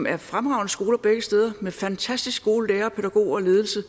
er fremragende skoler med fantastisk gode lærere pædagoger og ledelse